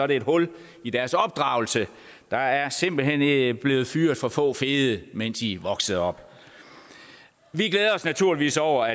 et hul i deres opdragelse der er simpelt hen blevet fyret for få fede mens i voksede op vi glæder os naturligvis over